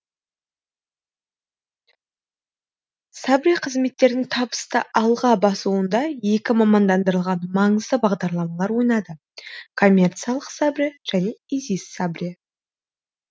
сабре қызметтердің табысты алға басуында екі мамандандырылған маңызды бағдарламалар ойнады коммерциялық сабре және изи сабре